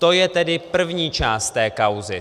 To je tedy první část té kauzy.